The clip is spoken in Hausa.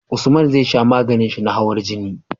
Usman zai sha maganin shi na hawan jini